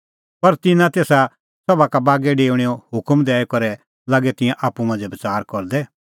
पर तिन्नां तेसा सभा का बागै डेऊणेओ हुकम दैई करै लागै तिंयां आप्पू मांझ़ै बच़ार करदै